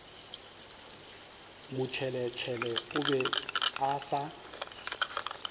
motšheletšhele o be a sa